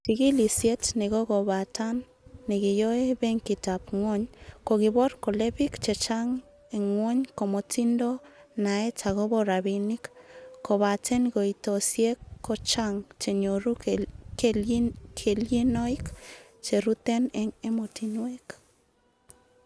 Chigilisiet nekokobatan nekiyoe Benkitab Ngwony, kokibor kole bik che chang en gwony komotindo naet agobo rabinik, kobaten koitoisiek ko chang chenyoru kelyinoik cheruten en emotinwek.